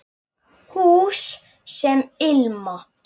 Hús sem ilma